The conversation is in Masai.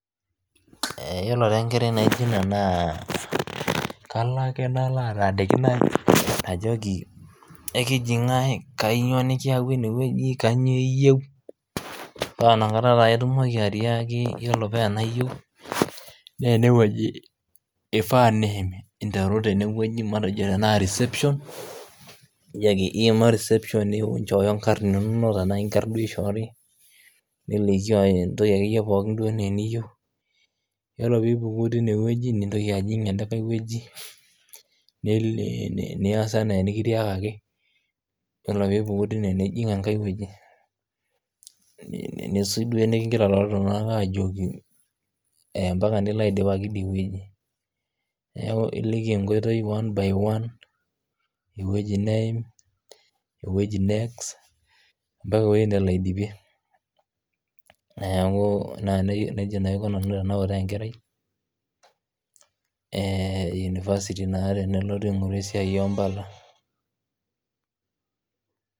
Iyolo taa enkerai naijo ina naa kalo ake nalo ataaniki najoki ekiji ing'ae najoki ekiji ing'ae kainyioo nikiewua ineweji kanyioo iyeu paa inakata taa itumoki atiaki iropiya iyeu naa eneweji eifaa niim interu tenewejui matejo reception nijoki ake iima reception ninchooyo enkarn inono enaa inkarn duo eishoori nimeishooyo entoki ake iye pookin duoenaa niyeu iyolo piipuku teine weji nintoki ajing' enkae weji niyas enaa nikitiakaki, iyolo piipuku teine niyas enaa nikitiakaki nisuj duo nikigira ltunganak aajoki empaka nilo aidipaki teide weji, neaku iliki enkiotei one by one eweji niim eweji next mpaka eweji nelo aidipie, neaku neja naa aiko nanu tenautaa enkerai e university naa tenelotu aing'oru esiaai empala.